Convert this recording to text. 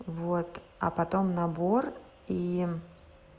вот а потом набор и